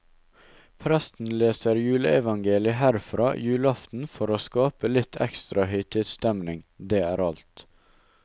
Presten leser juleevangeliget herfra julaften for å skape litt ekstra høytidsstemning, det er alt.